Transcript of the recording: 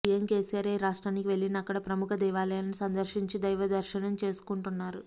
CM KCR ఏ రాష్ట్రానికి వెళ్లినా అక్కడ ప్రముఖ దేవాలయాలను సందర్శించి దైవదర్శనం చేసుకుంటు న్నారు